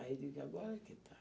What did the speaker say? Aí eu digo, agora que está.